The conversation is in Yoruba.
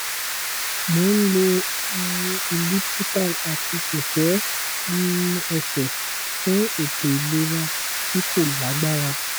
mo n lò um elliptical ati kẹkẹ um ẹsẹ fun eto ilera ti ko lagbara